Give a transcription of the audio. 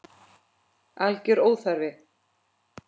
Alger óþarfi.